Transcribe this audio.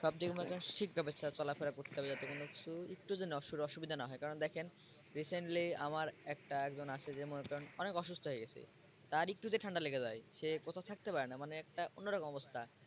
সবথেকে মনে করেন ঠিকভাবে চলাফেরা করতে হবে যাতে কোন কিছু একটুর জন্য অসুবিধা না হয় কারণ দেখেন Recently আমার একটা একজন আছে যে মনে করেন অনেক অসুস্থ হয়ে গেছে তার একটু যে ঠান্ডা লেগে যায় সে কোথাও থাকতে পারে না মানে একটা অন্যরকম অবস্থা।